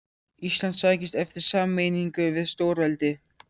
Ísland sækist eftir sameiningu við stórveldi.